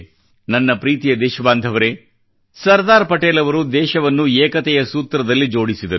ನನ್ನ ಪ್ರೀತಿಯ ದೇಶ ಬಾಂಧವರೇ ಸರ್ದಾರ್ ಪಟೇಲ್ ಅವರು ದೇಶವನ್ನು ಏಕತೆಯ ಸೂತ್ರದಲ್ಲಿ ಜೋಡಿಸಿದರು